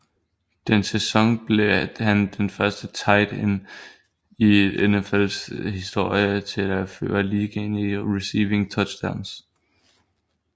Den sæson blev han den første tight end i NFLs historie til at føre ligaen i receiving touchdowns